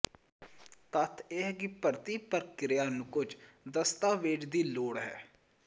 ਤੱਥ ਇਹ ਹੈ ਕਿ ਭਰਤੀ ਪ੍ਰਕਿਰਿਆ ਨੂੰ ਕੁਝ ਦਸਤਾਵੇਜ਼ ਦੀ ਲੋੜ ਹੈ